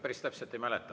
Päris täpselt ei mäleta.